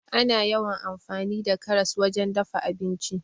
Ana yawan amfani da karas wajen dafa abinci.